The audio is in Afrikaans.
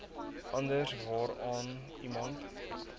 anders waaraan iemand